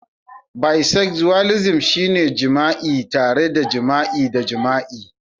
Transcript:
Bisexualism shine jima'i tare da jima'i da jima'i